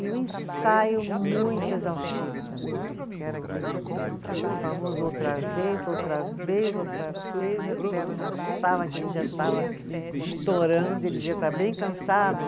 E um ensaio muito exaustivo também, porque era aquele famoso outra vez, outra vez, outra vez, a perna já estava que, já estava estourando, ele dizia, está bem cansada?